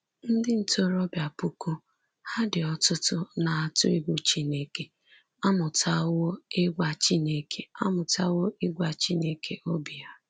Ndị ntorobịa puku ha dị ọtụtụ na-atụ egwu Chineke amụtawo ịgwa Chineke amụtawo ịgwa Chineke obi ha.